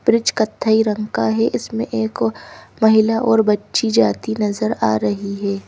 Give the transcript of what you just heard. Bridge कत्थई रंग का है इसमें एक और महिला और बच्ची जाती नजर आ रही हे ।